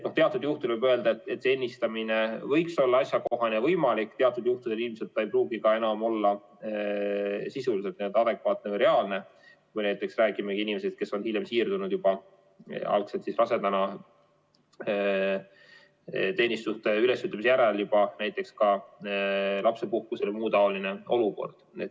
Teatud juhtudel võib öelda, et ennistamine võiks olla asjakohane ja võimalik, teatud juhtudel see ilmselt ei pruugi enam olla sisuliselt adekvaatne või reaalne, kui me räägime inimesest, kes on algselt rasedana teenistuse ülesütlemise järel siirdunud juba lapsepuhkusele või mõnes muus taolises olukorras.